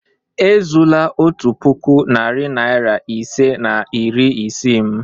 Ezula otu puku, narị naịra ise na iri isii m!